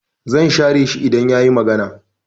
I will ignore him if he talk